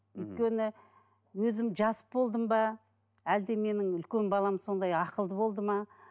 өйткені өзім жас болдым ба әлде менің үлкен балам сондай ақылды болды ма